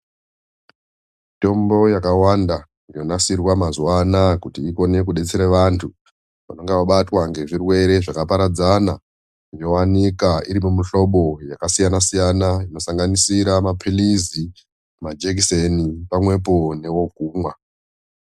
Mitombo yakawanda yonasirwa maazuva anaya kuti ikone kudetsera vanthu vanenge vabatwa ngezvirwere zvakaparadzana yowanika iri mumuhlobo yakasiyana siyana inosanganisira maphirizi, majekiseni pamwepo newekumwa.